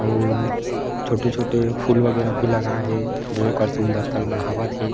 अउर छोटे-छोटे फूल वगैर भी लगाए हे जे ओकर सुंदरता बढ़ावत हे।